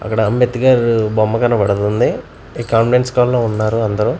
అక్కడ అంబేద్కర్ బొమ్మ కనపడుతుంది ఈ కాన్ఫరెన్స్ కాల్ లో ఉన్నారు అందరూ.